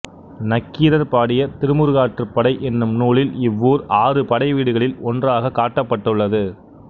நக்கீரர் பாடிய திருமுருகாற்றுப்படை என்னும் நூலில் இவ்வூர் ஆறு படைவீடுகளில் ஒன்றாகக் காட்டப்பட்டுள்ளது